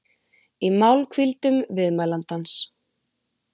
í málhvíldum viðmælandans.